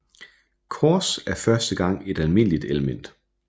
Kors er første gang et almindeligt element